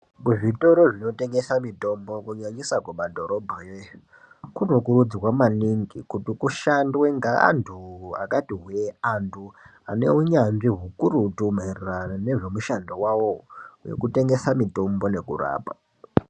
Kuzvitoro zvinotengesa mitombo kunyanyisa kumadhorobha yo kunokurudzirwa maningi kuti kushandwe ngeantu akati hwee antu anen unyanzvi ukurutu maerwrano nezvemushando wawowo wekutengesa mutombo nekurapa.